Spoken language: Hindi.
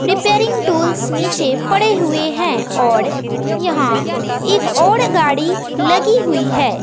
रिपेयरिंग टूल्स नीचे पड़े हुए हैं और यहां एक और गाड़ी लगी हुई है।